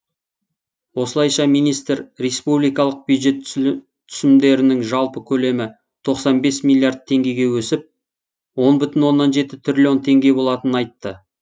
осылайша министр республикалық бюджет түсімдерінің жалпы көлемі тоқсан бес миллиард теңгеге өсіп он бүтін оннан жеті триллион теңге болатынын айтты